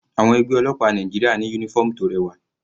Àwọn ẹgbẹ́ ọlọ́pàá Nàìjíríà ní uniform tó rẹwà.